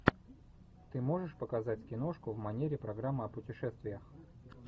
ты можешь показать киношку в манере программы о путешествиях